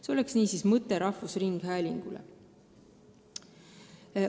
See oleks mõte rahvusringhäälingule.